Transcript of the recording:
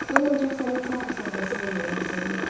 Mən ancaq səni teatr səhnəsində görəndə sevinirəm.